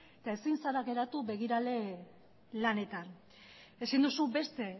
eta ezin zara geratu begirale lanetan ezin duzu beste